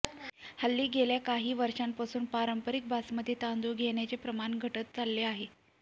हल्ली गेल्या काही वर्षांपासून पारंपरिक बासमती तांदूळ घेण्याचे प्रमाण घटत चालले आहे